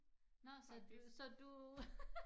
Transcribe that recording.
Nåh så du så du